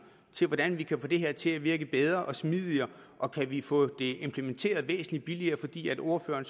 til hvordan vi kan få det her til at virke bedre og smidigere og kan vi få det implementeret væsentlig billigere fordi ordføreren